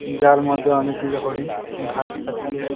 যার মধ্যে অনেকগুলো হরিণ ঘাস খাচ্ছে।